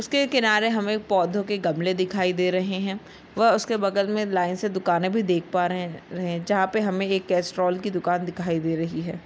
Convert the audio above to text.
उसके किनारे हमे पौधों के गमले दिखाई दे रहे है व उसके बगल मे लाइन से दुकाने भी देख पा रहे रहे है जहा पे हमे एक कैस्ट्रॉल की दुकान दिखाई दे रही है।